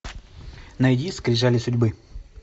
найди скрижали судьбы